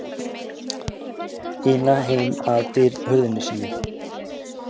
ina heim að hurðinni sinni.